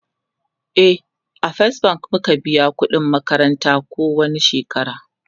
e a first bank muke biyan ƙudin makaranta ko wani shekara